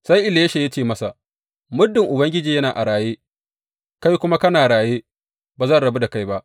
Sai Elisha ya ce masa, Muddin Ubangiji yana a raye, kai kuma kana raye, ba zan rabu da kai ba.